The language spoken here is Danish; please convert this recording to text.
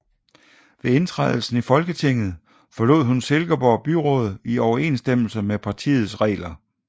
Ved indtrædelsen i Folketinget forlod hun Silkeborg Byråd i overensstemmelse med partiets regler